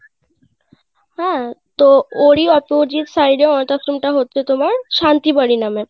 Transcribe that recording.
হ্যাঁ তো ওর ই opposite side এ অনাথ আশ্রম টা হচ্ছে তোমার শান্তি বাড়ি নামে